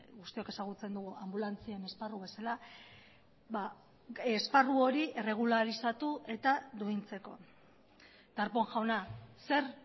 guztiok ezagutzen dugu anbulantzien esparru bezala esparru hori erregularizatu eta duintzeko darpón jauna zer